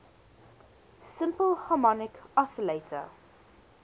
simple harmonic oscillator